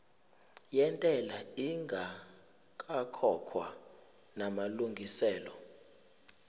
yentela ingakakhokhwa namalungiselo